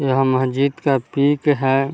यह मस्जिद का पिक है।